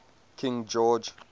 king george